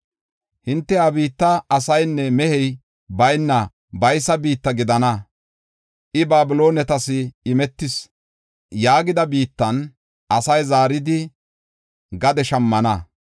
Hinte, ‘Ha biittay asaynne mehey bayna baysa biitta gidana; I Babiloonetas imetis’ yaagida biittan asay zaaridi gade shammana.